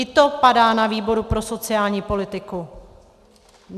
I to padá na výboru pro sociální politiku.